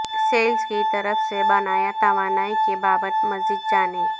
sales کی طرف سے بنایا توانائی کی بابت مزید جانیں